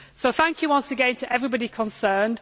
Thank you once again to everybody concerned.